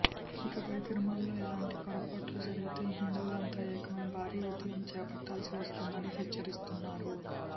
ఇకపై తిరుమలలో ఇలాంటి పొరపాట్లు జరిగితే హిందువులంతా ఏకమై భారీ ఉద్యమం చేపట్టాల్సి వస్తుందని హెచ్చరిస్తున్నారు